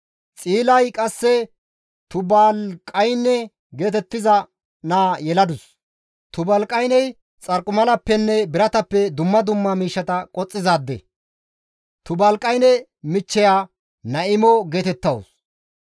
Xiilay qasse Tubaaliqayne geetettiza naa yeladus; Tubaaliqayney xarqimalappenne biratappe dumma dumma miishshata qoxxizaadde. Tubaaliqayne michcheya Naa7imo geetettawus.